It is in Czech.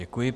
Děkuji.